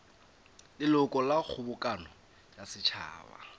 leloko la kgobokano ya setšhaba